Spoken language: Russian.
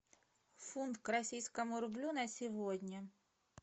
фунт к российскому рублю на сегодня